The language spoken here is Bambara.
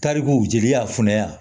Tarikuw jeli y'a funu ya